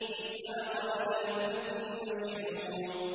إِذْ أَبَقَ إِلَى الْفُلْكِ الْمَشْحُونِ